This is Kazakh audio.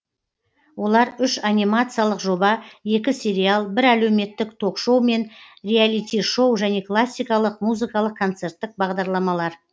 олар үш анимациялық жоба екі сериал бір әлеуметтік ток шоу мен реалити шоу және классикалық музыкалық концерттік бағдарламалар